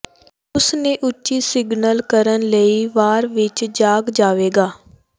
ਉਸ ਨੇ ਉੱਚੀ ਸਿਗਨਲ ਕਰਨ ਲਈ ਵਾਰ ਵਿੱਚ ਜਾਗ ਜਾਵੇਗਾ